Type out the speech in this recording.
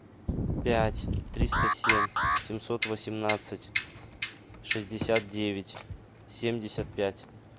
пять триста семь семьсот восемнадцать шестьдесят девять семьдесят пять